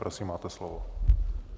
Prosím, máte slovo.